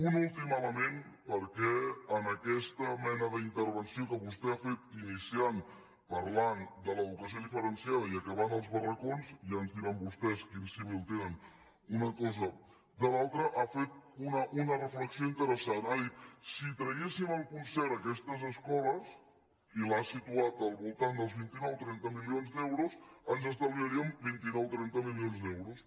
un últim element perquè en aquesta mena d’intervenció que vostè ha fet iniciant parlant de l’educació diferenciada i acabant als barracons ja ens diran vostès quin símil tenen una cosa i l’altra ha fet una reflexió interessant ha dit si traguéssim el concert a aquestes escoles i l’ha situat al voltant dels vint nou trenta milions d’euros ens estalviaríem vint nou trenta milions d’euros